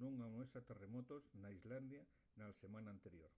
nun amuesa terremotos n’islandia na selmana anterior